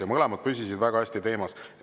Ja mõlemad püsisid väga hästi teemas.